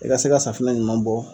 I ka se ka safinɛ ɲuman bɔ.